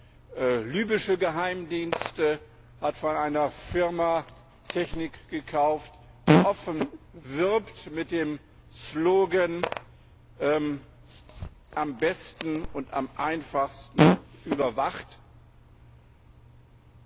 Der libysche Geheimdienst hat von einer Firma Technik gekauft, die offen mit dem Slogan Am besten und am einfachsten überwacht wirbt.